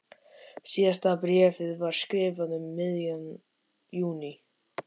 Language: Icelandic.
Síðasta bréfið var skrifað um miðjan júní.